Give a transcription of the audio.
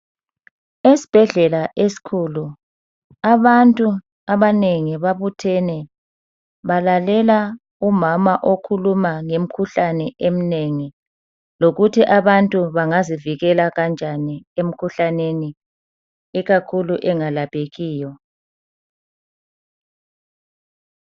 Esibhedlela esikhulu abantu abanengi babuthene balalela umama okhuluma ngemikhuhlane eminengi lokuthi abantu bangazivikela kanjani emikhuhlaneni ikakhulu engalaphekiyo.